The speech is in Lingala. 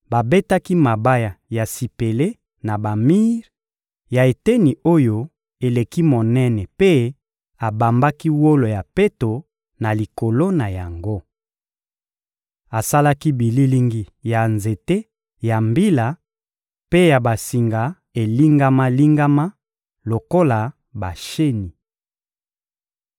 Babetaki mabaya ya sipele na bamir ya eteni oyo eleki monene mpe abambaki wolo ya peto na likolo na yango. Asalaki bililingi ya nzete ya mbila mpe ya basinga elingama-lingama lokola basheni.